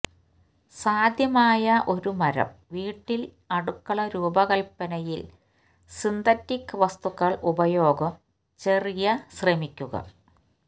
സാധ്യമായ ഒരു മരം വീട്ടിൽ അടുക്കള രൂപകൽപ്പനയിൽ സിന്തറ്റിക് വസ്തുക്കൾ ഉപയോഗം ചെറിയ ശ്രമിക്കുക